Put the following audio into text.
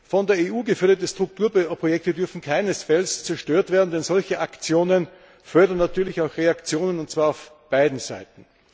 Von der EU geförderte Strukturprojekte dürfen keinesfalls zerstört werden, denn solche Aktionen fördern natürlich auch Reaktionen, und zwar auf beiden Seiten.